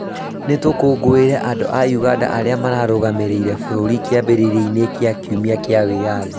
Nĩtũkũngũĩre andũ a ũganda arĩa marũgamĩrĩire bũrũri kĩambĩrĩria-inĩ gĩa kiumia kĩa wĩathi